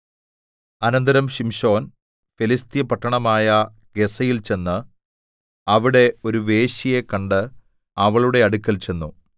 അനന്തരം ശിംശോൻ ഫെലിസ്ത്യ പട്ടണമായ ഗസ്സയിൽ ചെന്ന് അവിടെ ഒരു വേശ്യയെ കണ്ട് അവളുടെ അടുക്കൽ ചെന്നു